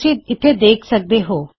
ਤੁਸੀਂ ਇਥੇ ਦੇਖ ਸਕਦੇ ਹੋਂ